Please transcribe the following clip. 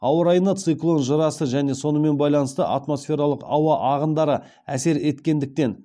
ауа райына циклон жырасы және сонымен байланысты атмосфералық ауа ағындары әсер еткендіктен